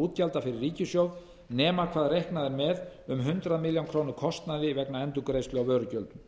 útgjalda fyrir ríkissjóð nema hvað reiknað er með um hundrað milljónir króna kostnaði vegna endurgreiðslu á vörugjöldum